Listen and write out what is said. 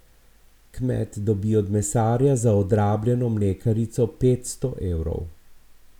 Kmet dobi od mesarja za odrabljeno mlekarico petsto evrov.